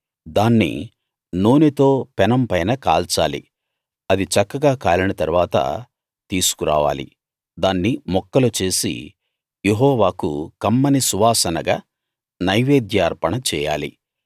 దాన్ని నూనెతో పెనం పైన కాల్చాలి అది చక్కగా కాలిన తరువాత తీసుకురావాలి దాన్ని ముక్కలు చేసి యెహోవాకు కమ్మని సువాసనగా నైవేద్య అర్పణ చేయాలి